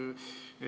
Aivar Sõerd, palun!